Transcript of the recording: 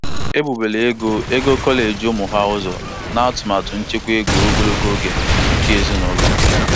Ezinụlọ Johnson nyere ego dọla puku iri ise n'atụmatụ nchekwa ego mmụta ụmụ ha na Jenụwarị naanị.